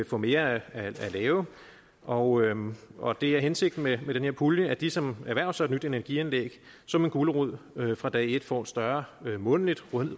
få mere at lave og og det er hensigten med den her pulje at de som erhverver sig et nyt energianlæg som en gulerod fra dag et får et større månedligt